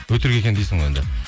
өтірік екен дейсің ғой енді